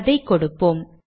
அதை கொடுப்போம்